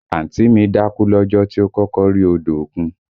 Àǹtí mi dákú lọ́jọ́ tí ó kọ́kọ́ rí odò òkun